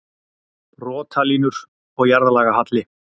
Brotalínur og jarðlagahalli